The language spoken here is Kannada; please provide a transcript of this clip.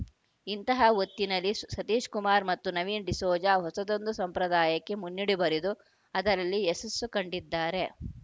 ಇಂತಹ ಹೊತ್ತಿನಲ್ಲಿ ಸ್ ಸತೀಶಕುಮಾರ್‌ ಮತ್ತು ನವೀನ್‌ ಡಿಸೋಜ ಹೊಸದೊಂದು ಸಂಪ್ರದಾಯಕ್ಕೆ ಮುನ್ನುಡಿ ಬರೆದು ಅದರಲ್ಲಿ ಯಶಸ್ಸು ಕಂಡಿದ್ದಾರೆ